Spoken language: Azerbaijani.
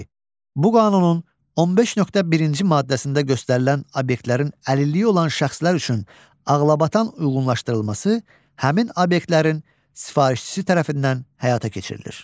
Bu qanunun 15.1-ci maddəsində göstərilən obyektlərin əlilliyi olan şəxslər üçün ağlabatan uyğunlaşdırılması həmin obyektlərin sifarişçisi tərəfindən həyata keçirilir.